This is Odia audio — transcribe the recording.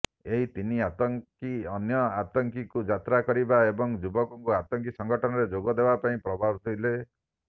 ଏହି ତିନି ଆତଙ୍କୀ ଅନ୍ୟ ଆତଙ୍କୀଙ୍କୁ ଯାତ୍ରା କରିବା ଏବଂ ଯୁବକଙ୍କୁ ଆତଙ୍କୀ ସଙ୍ଗଠନରେ ଯୋଗ ଦେବାପାଇଁ ପ୍ରବର୍ତ୍ତାଉଥିଲେ